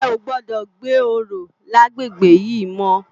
È ó gbòdò gbé óró làgbégbé yi mò